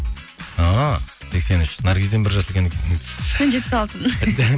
а сексен үш наргизден бір жас үлкен екенсің мен жетпіс алтымын